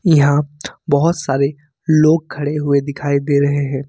यहां बहुत सारे लोग खड़े हुए दिखाई दे रहे हैं।